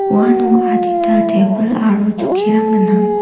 uano adita tebil aro chokkirang gnang.